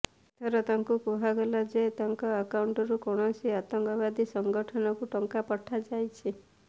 ଏଥର ତାଙ୍କୁ କୁହାଗଲା ଯେ ତାଙ୍କ ଆକାଉଣ୍ଟରୁ କୌଣସି ଆତଙ୍କବାଦୀ ସଂଗଠନକୁ ଟଙ୍କା ପଠାଯାଇଛି